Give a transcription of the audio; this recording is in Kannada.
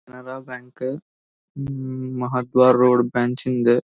Canara bank uh Mahadwara road branch ಇಂದ್.